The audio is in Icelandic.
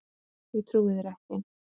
Ég trúi þér ekki.